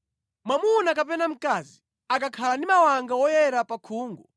“Mwamuna kapena mkazi akakhala ndi mawanga woyera pa khungu,